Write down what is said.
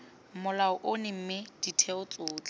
molao ono mme ditheo tsotlhe